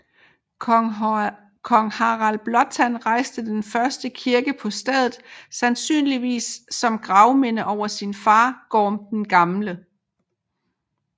Kong Harald Blåtand rejste den første kirke på stedet sandsynligvis som gravminde over sin far Gorm den Gamle